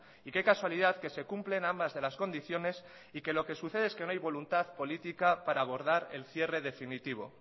y qué casualidad que se cumplen ambas de las condiciones y que lo que sucede es que no hay voluntad política para abordar el cierre definitivo